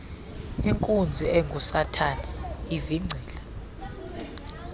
inkunzi engusathana ivingcile